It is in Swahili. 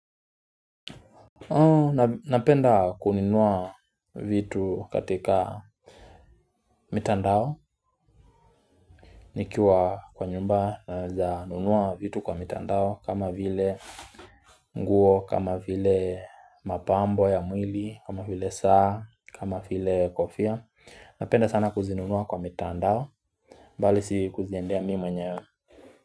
Napenda kununua vitu katika mitandao nikiwa kwa nyumba naweza nunua vitu kwa mitandao kama vile nguo kama vile mapambo ya mwili kama vile saa kama vile kofia Napenda sana kuzinunua kwa mitandao mbali si kuziendea mimi mwenye.